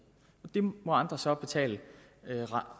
det må andre så betale